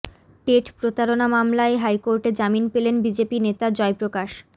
TET প্রতারণা মামলায় হাইকোর্টে জামিন পেলেন বিজেপি নেতা জয়প্রকাশ